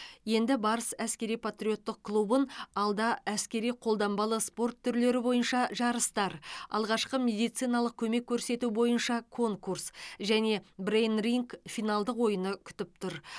енді барыс әскери патриоттық клубын алда әскери қолданбалы спорт түрлері бойынша жарыстар алғашқы медициналық көмек көрсету бойынша конкурс және брейн ринг финалдық ойыны күтіп тұр